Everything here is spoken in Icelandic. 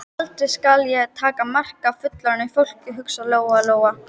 Aldrei skal ég taka mark á fullorðnu fólki, hugsaði Lóa-Lóa.